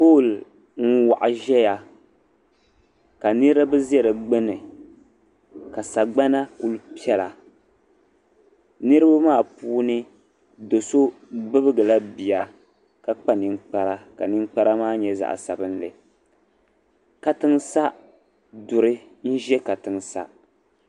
Lɔɔri n waɣa ʒaya ka niribi ʒɛ di gbuni, ka sagbana kuli piɛla, niribi maa puuni sɔ sɔ bibgila biya, ka kpa nin kpara, ka ninkpara maa nyɛ zaɣi sabinli. katiŋsa. duri n ʒɛ ka tiŋa,